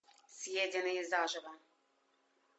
съеденные заживо